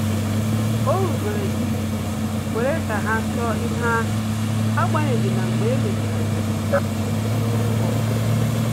O rubere isi kwere ka ha chọọ ihe ahụ, agbanyeghi na mgbe e mechara ọ jụrụ uru ọ bara